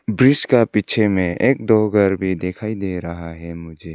Bridge का पीछे में एक दो घर भी दिखाई दे रहा है मुझे।